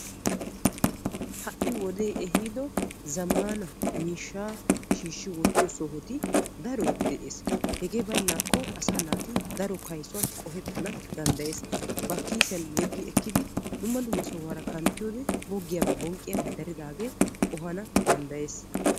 Hai wode ehido zammaana miishshaa shiishi wottiyo sohoti daroy de'ees. Hegee baynakko asaa naati daro kaysuwan qohetana danddayees. Ba kiisiyan yeggi ekkidi dumma dumma sohuwaara kanttiyode boggiyabay bonqqiyabay daridage qohana danddayees.